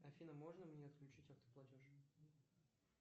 афина можно мне отключить автоплатеж